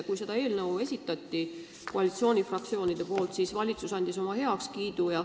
Kui koalitsioonifraktsioonid seda eelnõu tutvustasid, siis valitsus andis sellele oma heakskiidu.